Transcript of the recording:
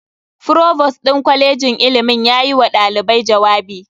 Provost din kwalejin ilimin yayi wa dalibai jawabi.